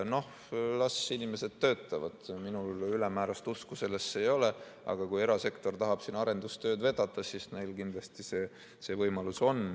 Las inimesed töötavad, minul ülemäärast usku sellesse ei ole, aga kui erasektor tahab siin arendustööd vedada, siis neil kindlasti see võimalus on.